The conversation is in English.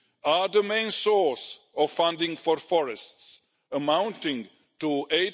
are the main source of funding for forests, amounting to EUR